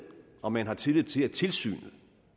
om man har tillid til at tilsynet